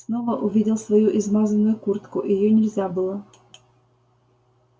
снова увидел свою измазанную куртку её нельзя было